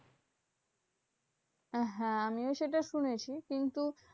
হ্যাঁ আমিও সেটা শুনেছি। কিন্তু